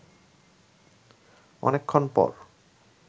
অনেকক্ষণ পর